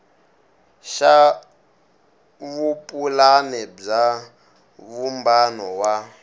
xa vupulani bya vumbano wa